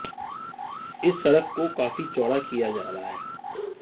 इस सड़क को काफी चौड़ा किया जा रहा है